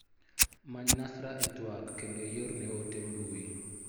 Many Nasra e twak kendo iorne ote mbui.